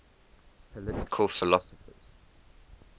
political philosophers